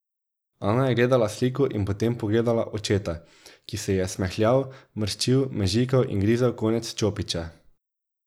Ana je gledala sliko in potem pogledala očeta, ki se je smehljal, mrščil, mežikal in grizel konec čopiča.